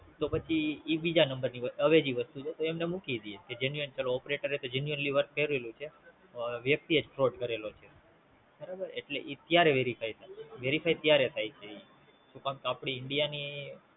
તો પછી એ બીજા નંબર ની અવેજી વસ્તુ છે તો એમને મૂકી દેય કે Operators work annually કરેલું છે, વ્યક્તિ એ જ Fraud કરેલો છે એટલે ઈ ત્યારે Verify થાય Verify ત્યારે થાય છે ઈ શું કામ તો આપડી India ની